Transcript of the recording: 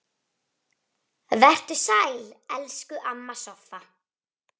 Vertu sæl, elsku amma Soffa.